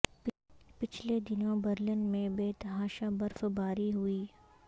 پچھلے دنوں برلن میں بے تحاشہ برف باری ہوئی